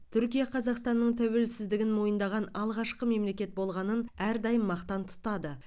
түркия қазақстанның тәуелсіздігін мойындаған алғашқы мемлекет болғанын әрдайым мақтан тұтады